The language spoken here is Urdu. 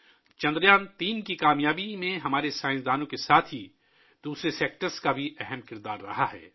چندریان 3 کی کامیابی میں ہمارے سائنسدانوں کے ساتھ ساتھ دیگر شعبوں نے بھی اہم کردار ادا کیا ہے